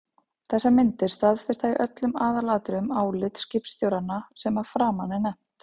Þessar myndir staðfesta í öllum aðalatriðum álit skipstjóranna sem að framan er nefnt.